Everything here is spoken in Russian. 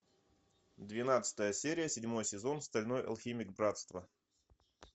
двенадцатая серия седьмой сезон стальной алхимик братство